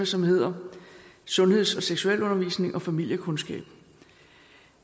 som hedder sundheds og seksualundervisning og familiekundskab